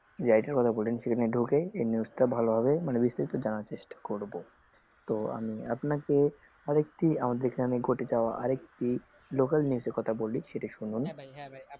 সেখানে ঢুকেই মানে এই news টার ব্যাপারে ভালোভাবে মানে বিস্তারির ভাবে জানার চেষ্টা করবো তো আমি আপনাকে আরেকটি আমাদে এখানে ঘটে যাওয়া আরেকটি local news এর কোথা বলি,